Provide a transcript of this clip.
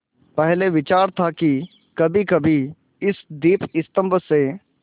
पहले विचार था कि कभीकभी इस दीपस्तंभ पर से